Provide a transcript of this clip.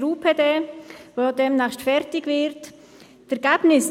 Die meisten haben ihr Votum bereits abgegeben.